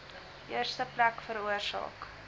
eerste plek veroorsaak